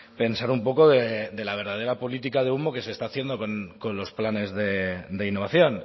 pensar un poco de la verdadera política de humo que se está haciendo con los planes de innovación